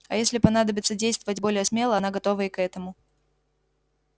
а если понадобится действовать более смело она готова и к этому